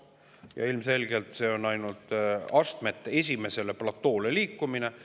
Ja ilmselgelt see on ainult esimesele astmele, platoole liikumine.